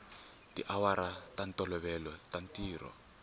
tiawara ta ntolovelo ta ntirho